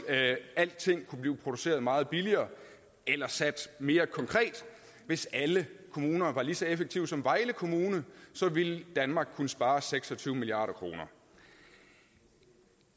alting kunne blive produceret meget billigere eller sagt mere konkret hvis alle kommuner var lige så effektive som vejle kommune ville danmark kunne spare seks og tyve milliard kroner